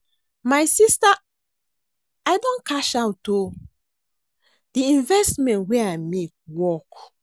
My sister I don cash out o. The investment wey I make work.